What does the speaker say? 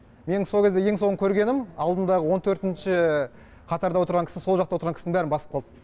менің со кезде ең соңғы көргенім алдымдағы он төртінші қатарда отырған кісі сол жақта отырған кісінің бәрін басып қалды